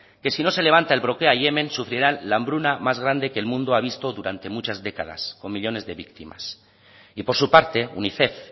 que si no se levanta el bloqueo a yemen sufrirán la hambruna más grande que el mundo ha visto durante muchas décadas con millónes de víctimas y por su parte unicef